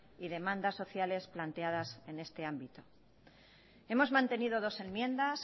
y demandas sociales planteadas en este ámbito hemos mantenido dos enmiendas